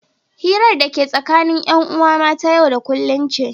hirar da ake yi tsakanin 'yan'uwa ma ta yau da kullum ce